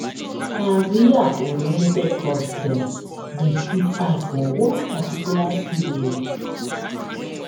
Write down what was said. Career-oriented course dem dey put eye for one particular skill.